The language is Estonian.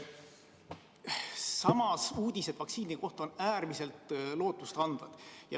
Samas on uudised vaktsiini kohta äärmiselt lootustandvad.